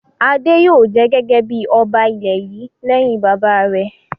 Adé yóò jẹ gẹ́gẹ́ bí ọba ilẹ̀ yìí lẹ́yìn bàbá rẹ̀!